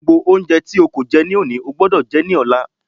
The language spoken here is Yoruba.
Gbogbo oúnjẹ tí o kò jẹ lónìí, o gbúdọ̀ jẹ ẹ́ ní ọ̀la.